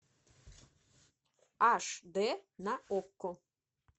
аш д на окко